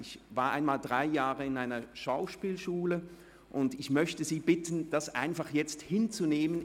Ich war einmal drei Jahre an einer Schauspielschule, und ich möchte Sie bitten, das einfach hinzunehmen.